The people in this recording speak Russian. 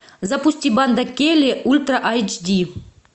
запусти банда келли ультра айч ди